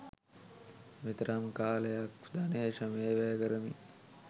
මෙතරම් කාලය ධනය ශ්‍රමය වැය කරමින්